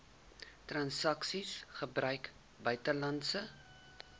transaksies gebruik buitelandse